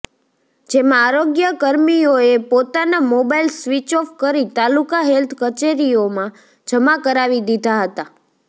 જેમાં આરોગ્ય કર્મીઓએ પોતાના મોબાઈલ સ્વીચ ઓફ કરી તાલુકા હેલ્થ કચેરીઓમાં જમા કરાવી દીધા હતા